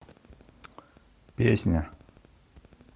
песня